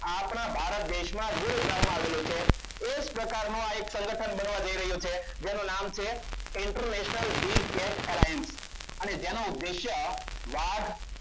આપણા ભારત દેશમાં ગુરુ બ્રહ્મા આવેલું છે. એ જ પ્રકારનું આ એક સંગઠન બનવા જઈ રહ્યું છે એનું નામ છે. international Big tat alliance અને તેનો ઉદ્દેશ્ય વાઘ